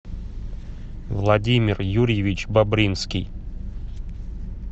владимир юрьевич бобринский